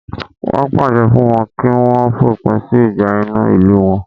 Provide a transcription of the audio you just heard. Wọn pàṣẹ fún wọn kí wọ́n fòpin sí ìjà inú ìlú wọn